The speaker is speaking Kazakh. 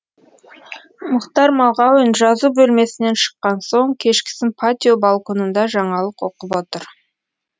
мұхтар мағауин жазу бөлмесінен шыққан соң кешкісін патио балконында жаңалық оқып отыр